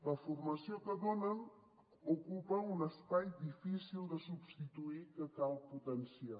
la formació que donen ocupa un espai difícil de substituir que cal potenciar